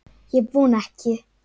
Ég vona ekki.